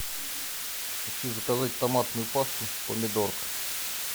хочу заказать томатную пасту помидорка